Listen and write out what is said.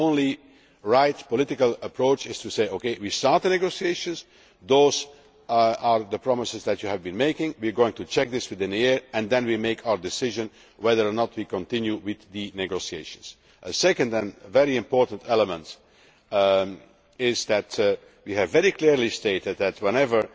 The only right political approach is to say OK, we have started negotiations, those are the promises which you have been making, we are going to check this within a year and then we will make our decision on whether or not we continue with the negotiations. A second and very important element which we have very clearly stated is that whenever